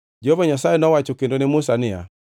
Jehova Nyasaye nowacho kendo ne Musa niya,